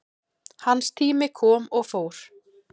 Hans tími kom og fór